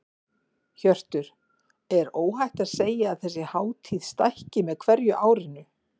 Hjörtur: Er óhætt að segja að þessi hátíð stækki með hverju árinu?